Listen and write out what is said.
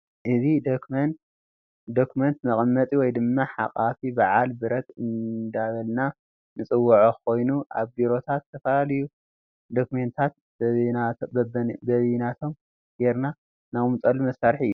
እዚ ደኩመን መቅመጢ ወይ ድማ ሓቃፊ በዓል ብረት እንዳበልና ንፅወዖ ኮይኑ አብ ቢሮታት ዝተፈላለዩ ደኩመንትታት በቢናቶም ጌርና ነቅምጠሉ መሳርሒ እዩ፡፡